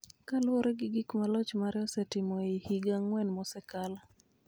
kaluwore gi gik ma loch mare osetimo ei higa ang�wen mosekalo.